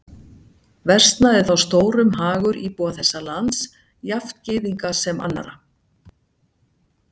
Versnaði þá stórum hagur íbúa þess lands, jafnt Gyðinga sem annarra.